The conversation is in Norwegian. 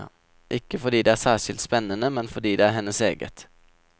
Ikke fordi det er særskilt spennende, men fordi det er hennes eget.